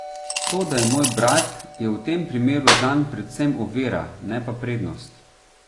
To da je moj brat, je v tem primeru zanj predvsem ovira, ne pa prednost.